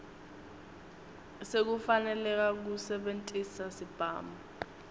sekufaneleka kusebentisa sibhamu